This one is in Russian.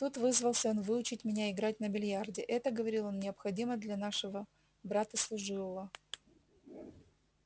тут вызвался он выучить меня играть на биллиарде это говорил он необходимо для нашего брата служивого